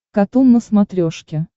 катун на смотрешке